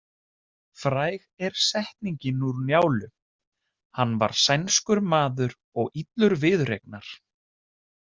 Fræg er setningin úr Njálu: Hann var sænskur maður og illur viðureignar.